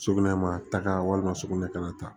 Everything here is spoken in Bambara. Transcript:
Sugunɛ ma taga walima sugunɛ kana taa